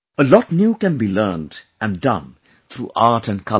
A lot new can be learnt and done through Art and Colours